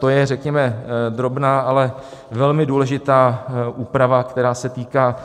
To je řekněme drobná, ale velmi důležitá úprava, která se týká